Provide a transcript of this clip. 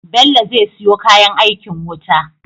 Bello ze siyo kayan aikin wuta